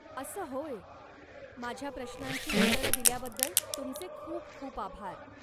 अस्सं होय, माझ्या प्रश्नांची उत्तरं दिल्याबद्दल तुमचे खूप खूप आभार.